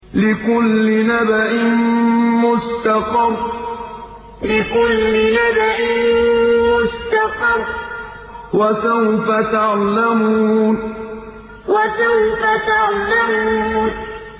لِّكُلِّ نَبَإٍ مُّسْتَقَرٌّ ۚ وَسَوْفَ تَعْلَمُونَ لِّكُلِّ نَبَإٍ مُّسْتَقَرٌّ ۚ وَسَوْفَ تَعْلَمُونَ